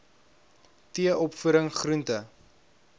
t opvoeding groente